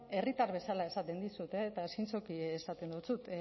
herritar bezala esaten dizut eta zintzoki esaten dizut